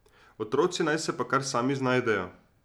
Otroci naj se pa kar sami znajdejo.